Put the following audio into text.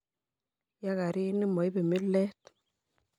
ya garini, moibei milet